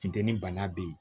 Funteni bana be yen